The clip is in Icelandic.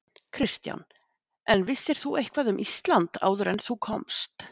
Kristján: En vissir þú eitthvað um Ísland áður en þú komst?